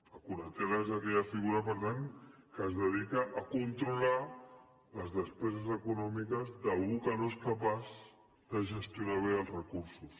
la curatela és aquella figura per tant que es dedica a controlar les despeses econòmiques d’algú que no és capaç de gestionar bé els recursos